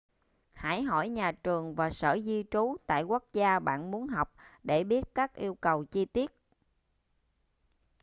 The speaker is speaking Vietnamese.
hãy hỏi nhà trường và sở di trú tại quốc gia bạn muốn học để biết các yêu cầu chi tiết